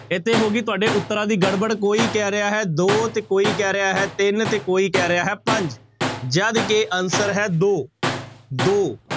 ਇੱਥੇ ਹੋ ਗਈ ਤੁਹਾਡੇ ਉੱਤਰਾਂ ਦੀ ਗੜਬੜ, ਕੋਈ ਕਹਿ ਰਿਹਾ ਹੈ ਦੋ ਤੇ ਕੋਈ ਕਹਿ ਰਿਹਾ ਹੈ ਤਿੰਨ ਤੇ ਕੋਈ ਕਹਿ ਰਿਹਾ ਹੈ ਪੰਜ ਜਦ ਕਿ answer ਹੈ ਦੋ ਦੋ